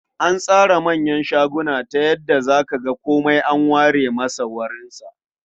An tsara manyan shaguna ta yadda za ka ga komai an ware masa wurinsa.